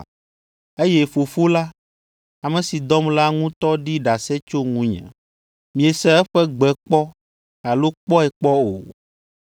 Eye Fofo la, ame si dɔm la ŋutɔ ɖi ɖase tso ŋunye. Miese eƒe gbe kpɔ alo kpɔe kpɔ o.